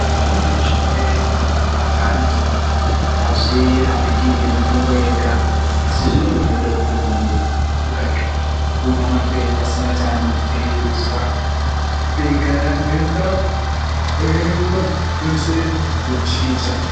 Zvimweni zvirwere zvinorwara nevanthu azvirapiki ngemitombo yega asi zvinenge zveida kuti munthu ambomwa pasina chaanenge eizwa ..... mukuchikicha.